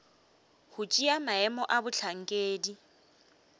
go tšea maemo a bohlankedi